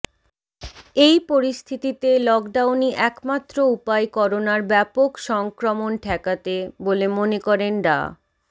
এই পরিস্থিতিতে লকডাউনই একমাত্র উপায় করোনার ব্যাপক সংক্রমণ ঠেকাতে বলে মনে করেন ডা